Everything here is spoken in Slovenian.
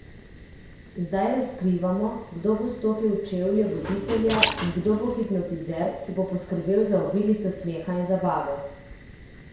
Zdaj razkrivamo, kdo bo stopil v čevlje voditelja in kdo bo hipnotizer, ki bo poskrbel za obilico smeha in zabave!